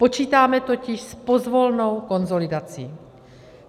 Počítáme totiž s pozvolnou konsolidací.